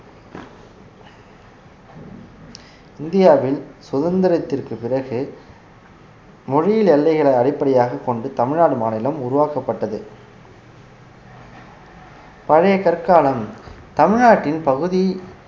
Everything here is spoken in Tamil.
இந்தியாவின் சுதந்திரத்திற்கு பிறகு மொழியியல் எல்லைகளை அடிப்படையாகக் கொண்டு தமிழ்நாடு மாநிலம் உருவாக்கப்பட்டது பழைய கற்காலம் தமிழ்நாட்டின் பகுதி